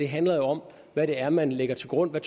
handler jo om hvad det er man lægger til grund og